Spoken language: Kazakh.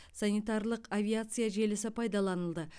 санитарлық авиация желісі пайдаланылды